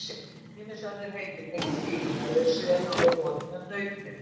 Ýmis önnur heiti tengd fílum eru þau sömu og við notum um nautgripi.